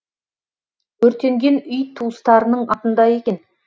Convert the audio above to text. өртенген үй туыстарының атында екен